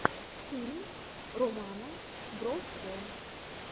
фильм романа бровко